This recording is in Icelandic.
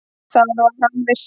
Það var hann viss um.